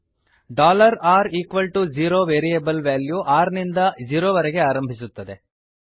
r0 variable value r ನಿಂದ zero ವರೆಗೆ ಆರಂಭಿಸುತ್ತದೆ